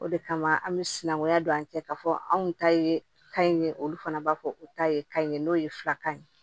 O de kama an bɛ sinankunya don an cɛ k'a fɔ anw ta ye ka ɲi ye olu fana b'a fɔ u ta ye kan in ye n'o ye filakan ye